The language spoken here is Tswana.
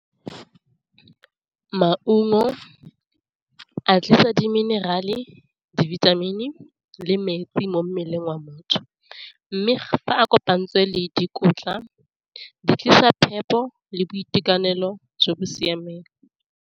Maungo a tlisa di minerale, dibithamini, le metsi mo mmeleng wa motho, mme fa a kopantsweng le dikotla di tlisa phepo le boitekanelo jo bo siameng.